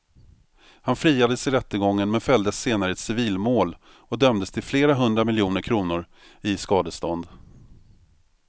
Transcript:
Han friades i rättegången men fälldes senare i ett civilmål och dömdes till flera hundra miljoner kronor i skadestånd.